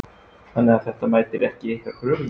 Þannig að þetta mætir ekki ykkar kröfum?